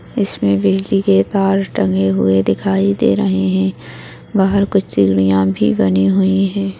इसमे बिजली के तार टंगे हुए दिखाई दे रहे है बाहर कुछ सिडीया भी बनी हुई है।